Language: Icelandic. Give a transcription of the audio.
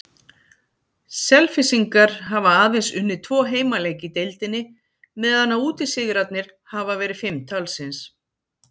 Selfyssingar hafa aðeins unnið tvo heimaleiki í deildinni meðan að útisigrarnir hafa verið fimm talsins.